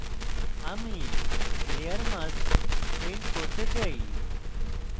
আমি layer mask paint করতে চাই